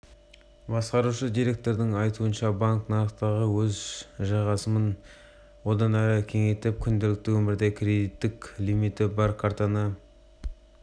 басқарушы директордың айтуынша банк нарықтағы өз жайғасымын одан әрі кеңейтіп күнделікті өмірде кредиттік лимиті бар картаны